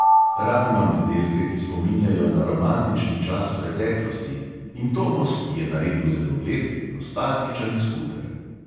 Rad imam izdelke, ki spominjajo na romantični čas preteklosti, in tomos je naredil zelo lep, nostalgičen skuter.